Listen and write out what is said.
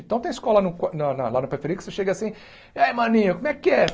Então tem escola lá co na na lá na Periferia que você chega assim... E aí, maninho, como é que é?